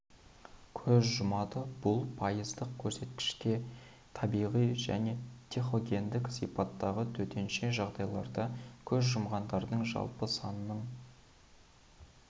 көз жұмады бұл пайыздық көрсеткіште табиғи және техногендік сипаттағы төтенше жағдайларда көз жұмғандардың жалпы санының